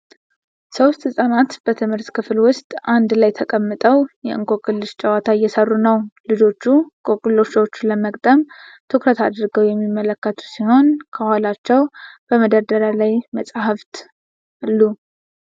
ሦስት ሕፃናት በትምህርት ክፍል ውስጥ አንድ ላይ ተቀምጠው የእንቆቅልሽ ጨዋታ እየሰሩ ነው። ልጆቹ እንቆቅልሾቹን ለመገጣጠም ትኩረት አድርገው የሚመለከቱ ሲሆን፣ ከኋላቸው በመደርደሪያ ላይ መጻሕፍት ።